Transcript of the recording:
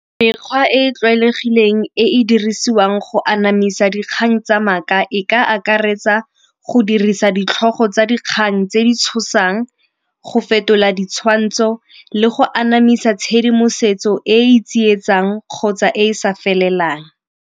Mekgwa e e tlwaelegileng e e dirisiwang go anamisa dikgang tsa maaka e ka akaretsa go dirisa ditlhogo tsa dikgang tse di tshosang, go fetola ditshwantsho le go anamisa tshedimosetso e e tsietsang kgotsa e sa felelang.